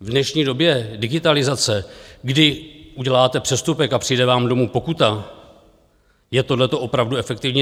V dnešní době digitalizace, kdy uděláte přestupek a přijde vám domů pokuta, je tohleto opravdu efektivní?